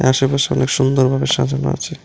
আশেপাশে অনেক সুন্দর ভাবে সাজানো আছে।